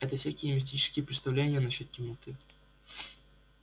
это всякие мистические представления насчёт темноты